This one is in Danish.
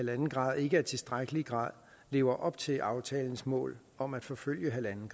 en grader ikke i tilstrækkelig grad lever op til aftalens mål om at forfølge en